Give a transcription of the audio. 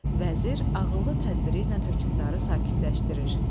Vəzir ağıllı tədbiri ilə hökmdarı sakitləşdirir.